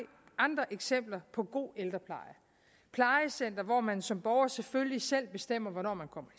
andre eksempler på god ældrepleje plejecentre hvor man som borger selvfølgelig selv bestemmer hvornår man kommer